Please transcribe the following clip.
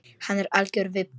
Hann er algjör vibbi.